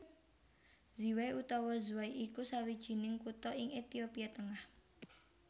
Ziway utawa Zway iku sawijining kutha ing Ethiopia tengah